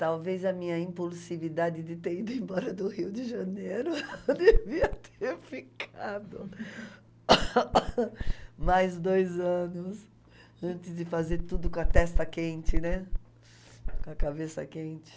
Talvez a minha impulsividade de ter ido embora do Rio de Janeiro devia ter ficado mais dois anos antes de fazer tudo com a testa quente, com a cabeça quente.